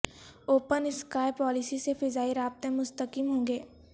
open sky policy سے فضائی رابطے مستحکم ہوں گے